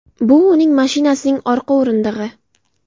Bu uning mashinasining orqa o‘rindig‘i”.